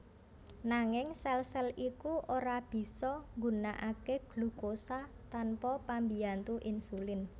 Nanging sèl sèl iku ora bisa nggunakaké glukosa tanpa pambiyantu insulin